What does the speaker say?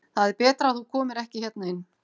Það er betra að þú komir ekki hérna inn.